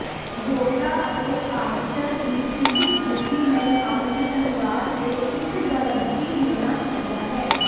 ਯੋਗਤਾ ਅਤੇ ਆਡੀਟਰ ਦੀ ਜ਼ਿਦ ਡਿਊਟੀ ਨੂੰ ਆਪਣੇ ਅਨੁਰਾਗ ਦੇ ਇੱਕ ਗਾਰੰਟੀ ਹੋਣਾ ਚਾਹੀਦਾ ਹੈ